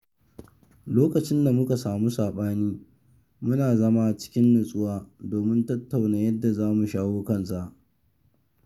Lokacin da muka samu sabani, muna zama cikin natsuwa domin tattauna yadda za mu shawo kansa.